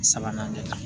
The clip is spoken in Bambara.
Sabanan de